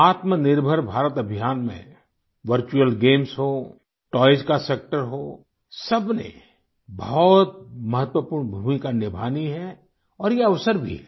आत्मनिर्भर भारत अभियान में virtual games हों टॉयज़ का सेक्टर हो सबने बहुत महत्वपूर्ण भूमिका निभानी है और ये अवसर भी है